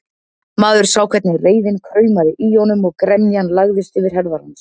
Maður sá hvernig reiðin kraumaði í honum og gremjan lagðist yfir herðar hans.